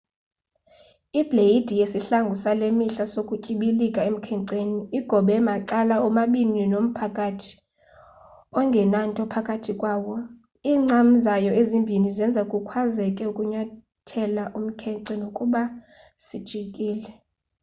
ibleyidi yesihlangu sale mihla sokutyibilika emkhenceni igobe macala omabini nomphakathi ongenanto phakathi kwawo iincam zayo ezimbini zenza kukwazeke ukunyathela umkhence nokuba sijikile